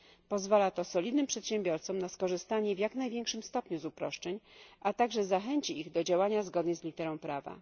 Pozwala to solidnym przedsiębiorcom na skorzystanie w jak największym stopniu z uproszczeń, a także zachęci ich do działania zgodnie z literą prawa.